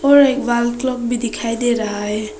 और एक बाल क्लब भी दिखाई दे रहा है।